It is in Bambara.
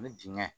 Ni dingɛn